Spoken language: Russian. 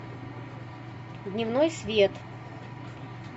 дневной свет